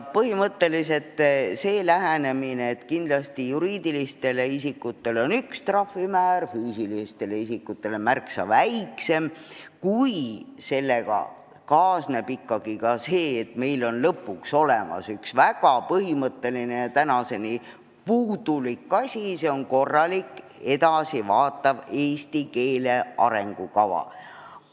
Põhimõtteliselt on õige see lähenemine, et juriidilistel isikutel on üks trahvimäär ja füüsilistel isikutel märksa väiksem, kui sellega kaasneb ka see, et meil on lõpuks olemas üks väga põhimõtteline ja tänaseni puudulik asi – korralik ja edasivaatav eesti keele arengukava.